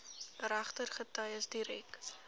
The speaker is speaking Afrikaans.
regter getuies direk